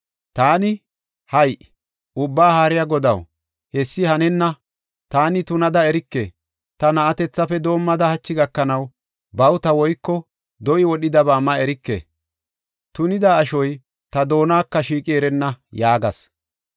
Taani, “Hay7i! Ubbaa Haariya Godaw, hessi hanenna; taani tunada erike. Ta na7atethafe doomada hachi gakanaw, bawuta woyko do7i wodhidaba ma erike; tunida ashoy ta doonako shiiqi erenna” yaagas.